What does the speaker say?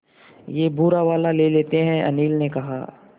ये भूरा वाला ले लेते हैं अनिल ने कहा